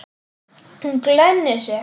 Hún glennir sig.